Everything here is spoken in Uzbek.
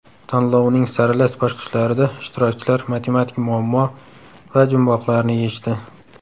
Tanlovning saralash bosqichlarida ishtirokchilar matematik muammo va jumboqlarni yechdi.